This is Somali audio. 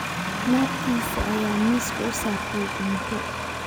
Naagtiisii ​​ayaa miiska u saartay cunto